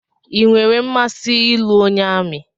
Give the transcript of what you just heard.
I nwèrè mmasị ịlụ onye amị